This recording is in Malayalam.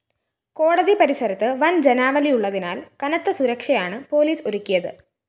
കോടതി പരിസരത്ത് വൻ ജനാവലിയുള്ളതിനാൽ കനത്ത സുരക്ഷയാണ് പൊലീസ് ഒരുക്കിയത്